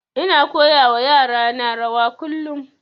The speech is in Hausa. Ina koya wa yara na rawa kullum